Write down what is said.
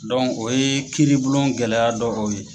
o ye kiiri bulon gɛlɛya dɔ o ye.